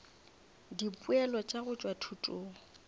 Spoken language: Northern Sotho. dipoelo tša go tšwa thutong